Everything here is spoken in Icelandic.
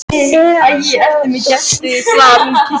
Eða svo var.